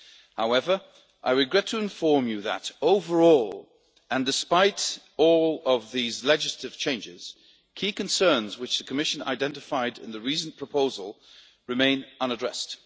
However, I regret to inform you that, overall, and despite all of these legislative changes, key concerns which the Commission identified in the Reasoned Proposal remain unaddressed.